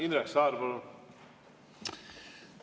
Indrek Saar, palun!